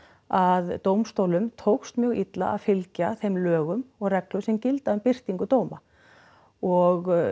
að dómstólum tókst mjög illa að fylgja þeim lögum og reglum sem gilda um birtingu dóma og